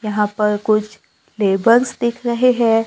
यहां पर कुछ लेबर्स दिख रहे है।